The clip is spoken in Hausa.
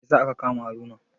Mai yasa aka kama Haruna?